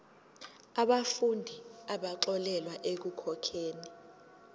yabafundi abaxolelwa ekukhokheni